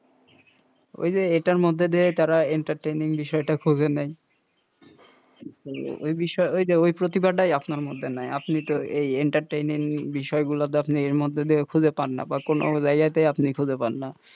ওই যে এটার মধ্যে দিয়ে তারা entertaining বিষয়টা খুঁজে নেয় ওই বিষয় ওই যে প্রতিভাটাই আপনার মধ্যে নাই আপনি তো এই entertaining বিষয় গুলা আপনি খুঁজে পাননা বা কোনো জায়গাতেই আপনি খুঁজে পাননা,